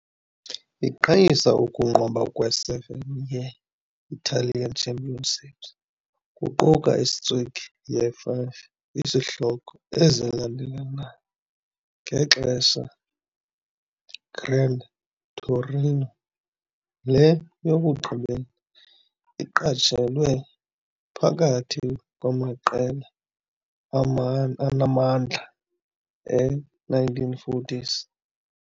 Iqhayisa ukunqoba kwe-7 ye-Italian Championships kuquka i-streak ye-5 izihloko ezilandelelanayo ngexesha Grande Torino, le yokugqibela iqatshelwe phakathi kwamaqela anamandla e-1940s.